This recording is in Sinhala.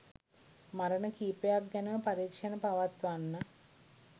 මරණ කීපයක්‌ ගැනම පරීක්‌ෂණ පවත්වන්න